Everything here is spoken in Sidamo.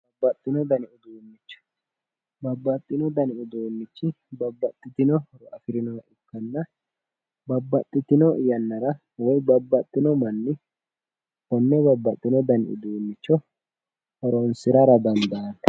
Babbaxxino danni uduunicho, babbaxxino dani uduunichi babbaxitinore afirinohonna tene yannara woyi babbaxxino manni babbaxino danni uduunicho horonsirara fushinoniho.